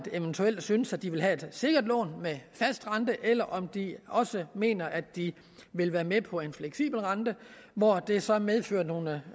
eventuelt at synes at de vil have et sikkert lån med fast rente eller om de også mener at de vil være med på en fleksibel rente hvor det så medfører nogle